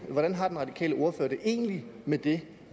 hvordan har den radikale ordfører det egentlig med det